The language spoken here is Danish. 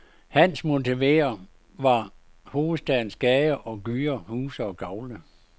Hans motiver var hovedstadens gader og gyder, huse og gavle.